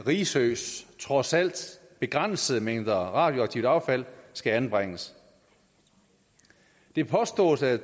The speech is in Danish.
risøs trods alt begrænsede mængder radioaktivt affald skal anbringes det påstås at